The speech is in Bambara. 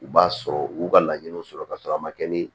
U b'a sɔrɔ u b'u ka laɲiniw sɔrɔ ka sɔrɔ a ma kɛ ni